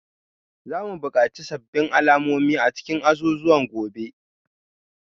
Za mu buƙaci sabbin alamomi a cikin azuzuwan gobe